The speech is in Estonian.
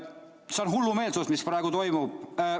See on hullumeelsus, mis praegu toimub.